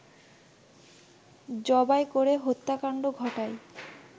জবাই করে হত্যাকাণ্ড ঘটায়